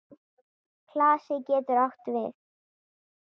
Klasi getur átt við